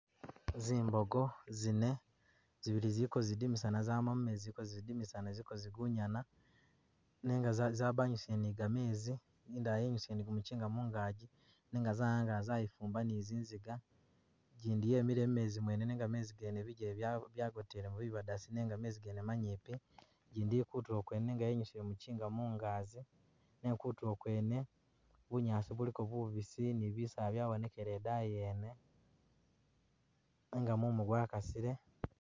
Zimbogo zine, zibili zili ko zidimisana zama mumezi ziliko zidimisana ziliko zigunyana nenga zabangisibwile ne gamezi indala yenyusile ne gumujinga mungaji nenga zawangala zayifumba ne zinziga ijindi yemile mumezi mwene nenga mezi gene bijele byagotelamo nenga mezi gene manyimpi ijindi ili kutulo kwene yenyusile mujinga mungazi nenga kutulo kwene bunyaasi buliko bubiisi ne bisaala byabonekele idaani yene nenga mumu gwa kasile.